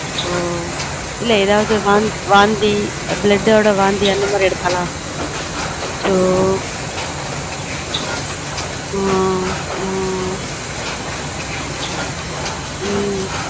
ஒ இல்ல எதாவது வாந்தி blood வொட வாந்தி அந்த மாதிரி எடுத்தாளா அச்சச்ச அஹ் உம்